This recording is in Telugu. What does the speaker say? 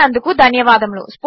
చూసినందుకు ధన్యవాదములు